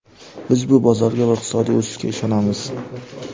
Biz bu bozorga va iqtisodiy o‘sishga ishonamiz.